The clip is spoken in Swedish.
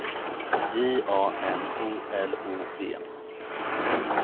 J A N O L O V